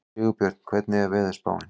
Sigurbjörn, hvernig er veðurspáin?